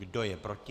Kdo je proti?